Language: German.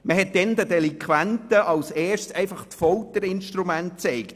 Man hat den Delinquenten damals als erstes die Folterinstrumente gezeigt.